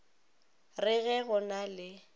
re ge go na le